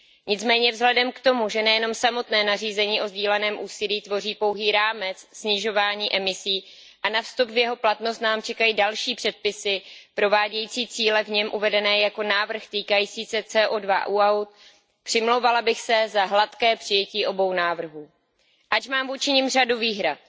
Nicméně vzhledem k tomu, že nejenom samotné nařízení o sdíleném úsilí tvoří pouhý rámec snižování emisí a na vstup v jeho platnost nám čekají další předpisy provádějící cíle v něm uvedené jako návrh týkající se CO2 u aut, přimlouvala bych se za hladké přijetí obou návrhů, ač mám vůči nim řadu výhrad.